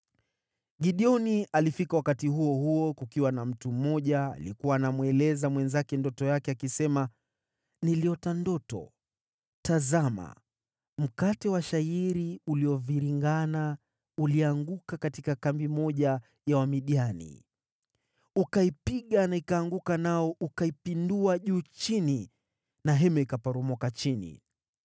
Gideoni alifika wakati huo huo kukiwa na mtu mmoja aliyekuwa anamweleza mwenzake ndoto yake, akisema, “Niliota ndoto: Tazama mkate wa shayiri ulioviringana ulianguka katika kambi moja ya Wamidiani, ukaipiga na ikaanguka nao ukaipindua juu chini na hema ikaporomoka chini.”